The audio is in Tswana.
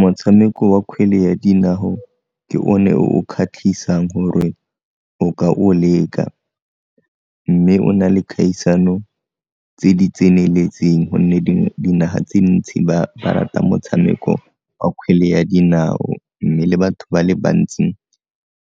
Motshameko wa kgwele ya dinao ke one o o kgatlhisang gore o ka o leka, mme o na le kgaisano tse di tseneletseng gonne dinaga tse ntsi ba rata motshameko wa kgwele ya dinao mme le batho ba le bantsi